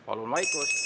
Palun vaikust!